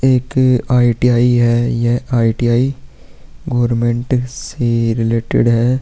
एक अ आई.टी.आई. है। ये आई.टी.आई. गोरमेंट से रिलेटेड है।